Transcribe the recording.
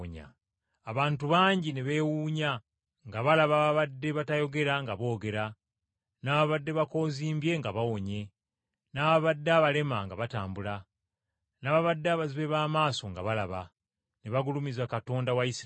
Abantu bangi ne beewuunya, nga balaba ababadde batayogera nga boogera, n’ababadde bakoozimbye nga bawonye, n’ababadde abalema nga batambula, n’ababadde abazibe b’amaaso nga balaba. Ne bagulumiza Katonda wa Isirayiri.